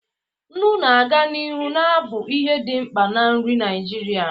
Nnu ga-aga n'ihu na-abụ ihe dị mkpa na nri Naijiria.